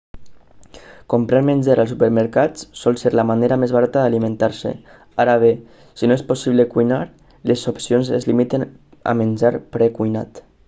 comprar menjar als supermercats sol ser la manera més barata d'alimentar-se ara bé si no és possible cuinar les opcions es limiten a menjar precuinat